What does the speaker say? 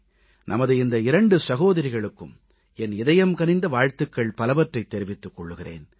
நமது இந்த இரண்டு சகோதரிகளுக்கும் என் இதயம் கனிந்த வாழ்த்துகள் பலவற்றைத் தெரிவித்துக் கொள்கிறேன்